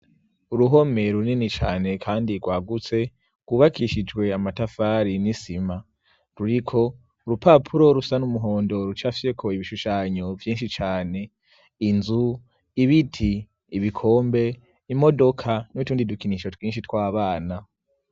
Uruhome runini cane kandi rwagutse kubakishijwe amatafari n'isima ruriko urupapuro rusa n'umuhondo rucafyeko ibishushanyo vyinshi cane. Inzu ibiti ibikombe imodoka nutundi dukinisho twinshi tw'abana.